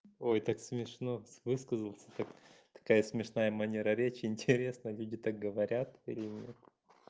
ой так смешно высказался так какая смешная манера речи интересно люди так говорят или нет